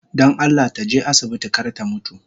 Don Allah taje asibiti kar ta mutu